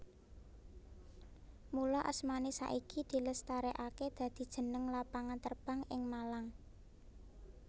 Mula asmané saiki dilestarèkaké dadi jeneng lapangan terbang ing Malang